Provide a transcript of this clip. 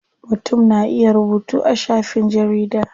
Mutum na iya rubutu a shafin jarida.